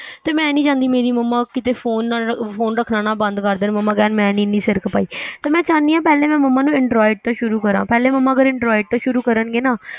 ਤੇ ਮੈ ਨਹੀ ਚਾਹੀਦੀ ਮੇਰੀ ਮਮਾਂ ਕਿਤੇ ਫ਼ੋਨ ਰੱਖਣਾ ਬੰਦ ਕਰ ਦੇਣ ਮਮਾਂ ਕਹਿਣ ਮੈ ਨਹੀ ਐਨੀ ਸਿਰ ਖਪਾਈ ਤੇ ਮੈ ਚਾਹਨੀ ਆ ਪਹਿਲੇ ਮੈ ਮਮਾਂ ਨੂੰ android ਤੋ ਸ਼ੁਰੂ ਕਰਾ ਪਹਿਲੇ ਮਮਾਂ ਅਗਰ android ਤੋ ਸ਼ੁਰੂ ਕਰਨਗੇ ਨਾ